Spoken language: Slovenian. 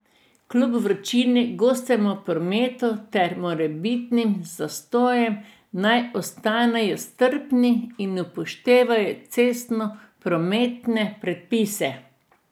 Kljub vročini, gostemu prometu ter morebitnim zastojem naj ostanejo strpni in upoštevajo cestnoprometne predpise.